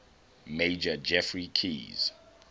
major geoffrey keyes